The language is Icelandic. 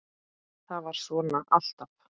ÞAÐ VARÐ SVONA ALLTAF